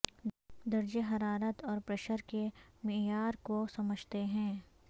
درجہ حرارت اور پریشر کے معیار کو سمجھتے ہیں